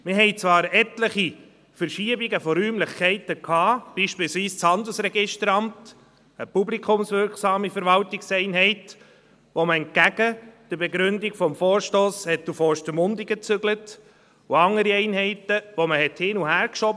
Wir hatten zwar etliche Verschiebungen von Räumlichkeiten, beispielsweise des Handelsregisteramts – eine publikumswirksame Verwaltungseinheit, die man entgegen der Begründung des Vorstosses nach Ostermundigen zügelte –, und andere Einheiten, die man hin- und herschob.